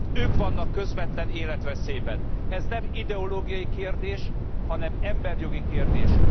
Ők vannak közvetlen életveszélyben! Ez nem ideológiai kérdés, hanem emberjogi kérdés.